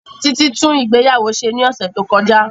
Títí tún ìgbéyàwó ṣe ní ọ̀sẹ̀ tó kọjá